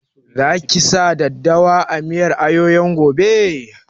Za ki sa daddawa a miyar ayoyon gobe?